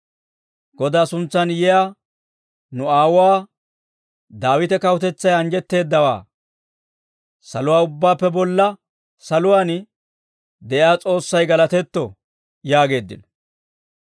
Godaa suntsan yiyaa nu aawuwaa Daawite kawutetsay anjjetteeddawaa. Saluwaa ubbaappe bolla saluwaan de'iyaa S'oossay galatetto» yaageeddino.